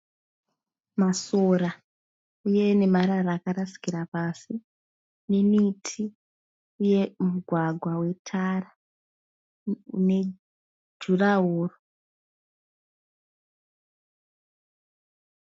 Masora uye nemarara akarasikira pasi nemiti uye mugwagwa wetara une nejurawoo.